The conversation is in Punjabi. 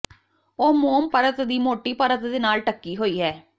ਉਹ ਮੋਮ ਪਰਤ ਦੀ ਮੋਟੀ ਪਰਤ ਦੇ ਨਾਲ ਢੱਕੀ ਹੋਈ ਹੈ